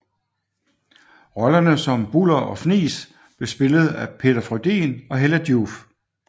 Rollerne som Buller og Fnis blev spillet af Peter Frödin og Hella Joof